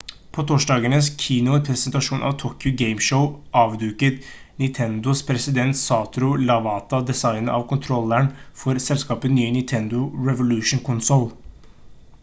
på torsdagens keynote-presentasjon av tokyo game show avduket nintendos president satoru iwata designet av kontrolleren for selskapets nye nintendo revolution-konsoll